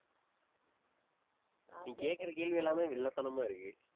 நீ கேட்கிற கேள்வி எல்லாமே வில்லத்தனமா இருக்கு